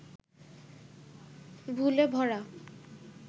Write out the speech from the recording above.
ভুলে ভরা